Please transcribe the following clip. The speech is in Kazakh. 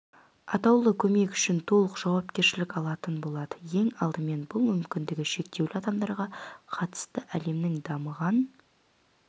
атаулы көмек үшін толық жауапкершілік алатын болады ең алдымен бұл мүмкіндігі шектеулі адамдарға қатысты әлемнің дамыған